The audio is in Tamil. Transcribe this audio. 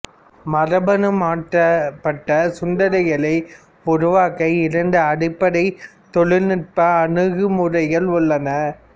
மரபணு மாற்றப்பட்ட சுண்டெலிகளை உருவாக்க இரண்டு அடிப்படை தொழில்நுட்ப அணுகுமுறைகள் உள்ளன